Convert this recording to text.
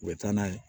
U bɛ taa n'a ye